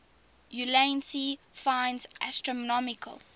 ulansey finds astronomical